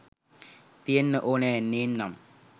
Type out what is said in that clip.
තියෙන්න ඕනෙ නේන්නම්.?